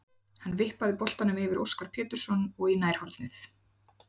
Hann vippaði boltanum yfir Óskar Pétursson og í nærhornið.